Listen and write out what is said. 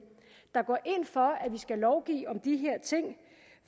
der går ind for at vi skal lovgive om de her ting